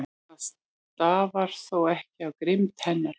Það stafar þó ekki af grimmd hennar.